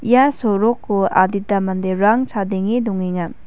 ia soroko adita manderang chadenge dongenga.